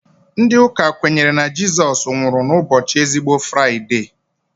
Ndị Ụka kwenyere na Jizọs nwụrụ na ụbọchị ezigbo Fraide